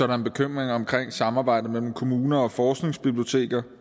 der en bekymring omkring samarbejdet mellem kommuner og forskningsbiblioteker